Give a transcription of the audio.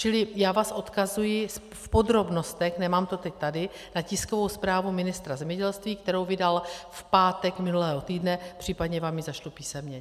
Čili já vás odkazuji v podrobnostech, nemám to teď tady, na tiskovou zprávu ministra zemědělství, kterou vydal v pátek minulého týdne, případně vám ji zašlu písemně.